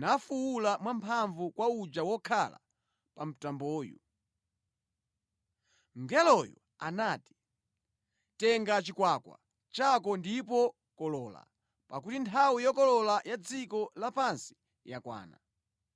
nafuwula mwamphamvu kwa uja wokhala pa mtamboyu. Mngeloyo anati, “Tenga chikwakwa chako ndipo kolola, pakuti nthawi yokolola ya dziko la pansi yakwana”